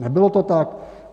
Nebylo to tak?